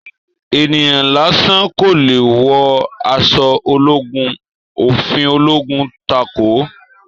Ènìyàn lásán kò leè wọ aṣọ ológun, òfin ológun takòó